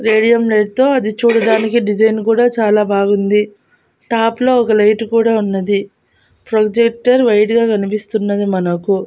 Radium light తో అది చూడడానికి డిజైన్ కూడా చాలా బాగుంది టాప్ లో ఒక లైట్ కూడా ఉన్నది ప్రొజెక్టర్ వైడ్ గా కనిపిస్తున్నది మనకు.